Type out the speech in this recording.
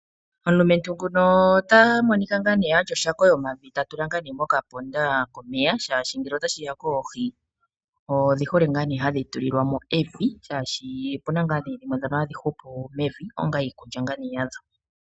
Omulumentu nguno ota monika ena oshako yomavi ta tula mokaponda komeya shaashi ngele otashi ya koohi, odhi hole hadhi tulilwa mo evi shaashi opuna dhimwe dhono hadhi hupu evi onga iikulya yadho.